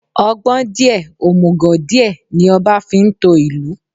Ọgbọ́n díẹ̀, òmùgò díẹ̀, ní ọba fi ń to ìlú.